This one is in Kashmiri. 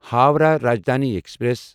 ہووراہ راجدھانی ایکسپریس